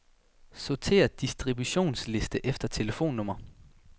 Sortér distributionsliste efter telefonnummer.